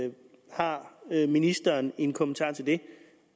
har ministeren en kommentar til det